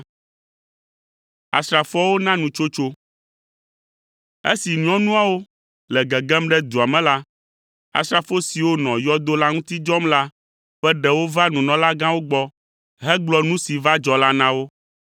Esi nyɔnuawo le gegem ɖe dua me la, asrafo siwo nɔ yɔdo la ŋuti dzɔm la ƒe ɖewo va nunɔlagãwo gbɔ hegblɔ nu si va dzɔ la na wo.